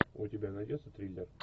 у тебя найдется триллер